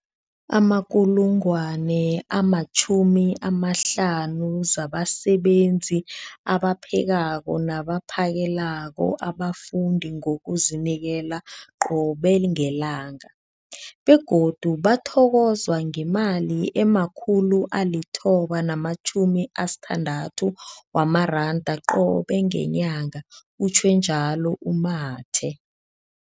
50 000 zabasebenzi abaphekako nabaphakela abafundi ngokuzinikela qobe ngelanga, begodu bathokozwa ngemali ema-960 wamaranda qobe ngenyanga, utjhwe njalo u-Mathe.